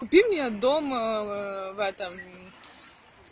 купи мне дом в этом